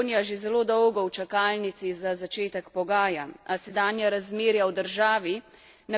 A sedanja razmerja v državi na katera opozarjamo v resoluciji kažejo na nujnost sprememb.